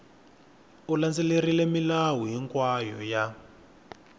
u landzelerile milawu hinkwayo ya